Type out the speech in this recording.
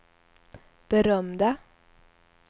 berömda